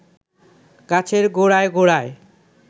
গাছের গোড়ায় গোড়ায়